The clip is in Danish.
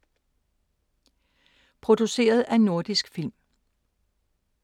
Produceret af Nordisk Film